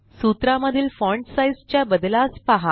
सूत्रा मधील font size च्या बद्लास पहा